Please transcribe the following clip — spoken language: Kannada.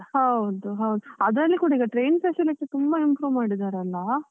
ಹೌದು ಹೌದು. ಅದ್ರಲ್ಲಿ ಕೂಡ ಈಗ train facility ತುಂಬ improve ಮಾಡಿದಾರೆ ಅಲಾ.